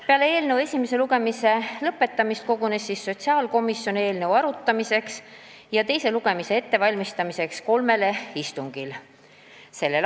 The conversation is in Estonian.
Peale eelnõu esimese lugemise lõpetamist kogunes sotsiaalkomisjon eelnõu arutamiseks ja teise lugemise ettevalmistamiseks kolmel istungil: s.